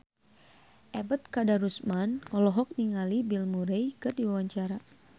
Ebet Kadarusman olohok ningali Bill Murray keur diwawancara